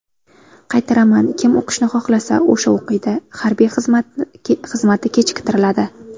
Qaytaraman: kim o‘qishni xohlasa, o‘sha o‘qiydi, harbiy xizmati kechiktiriladi.